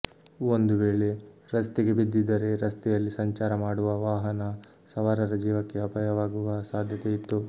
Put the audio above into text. ಒಂದು ವೇಳೆ ರಸ್ತೆಗೆ ಬಿದ್ದಿದ್ದರೆ ರಸ್ತೆಯಲ್ಲಿ ಸಂಚಾರ ಮಾಡುವ ವಾಹನ ಸವಾರರ ಜೀವಕ್ಕೆ ಅಪಾಯವಾಗುವ ಸಾಧ್ಯತೆಯಿತ್ತು